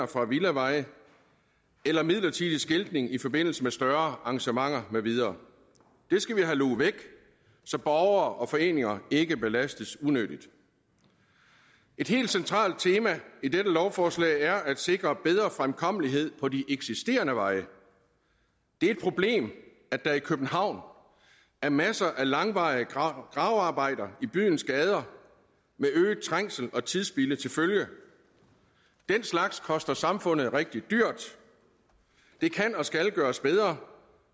fra villaveje eller midlertidig skiltning i forbindelse med større arrangementer med videre det skal vi have luget væk så borgere og foreninger ikke belastes unødigt et helt centralt tema i dette lovforslag er at sikre bedre fremkommelighed på de eksisterende veje det er et problem at der i københavn er masser af langvarige gravearbejder i byens gader med øget trængsel og tidsspilde til følge den slags koster samfundet rigtig dyrt det kan og skal gøres bedre